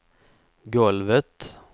golvet